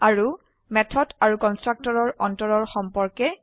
আৰু মেথড আৰু কনস্ট্ৰাক্টৰৰ অন্তৰৰ সম্পৰ্কে